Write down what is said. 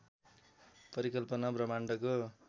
परिकल्पना ब्रह्माण्डको